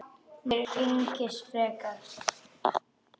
Mamma spyr einskis frekar.